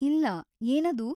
ಇಲ್ಲ, ಏನದು?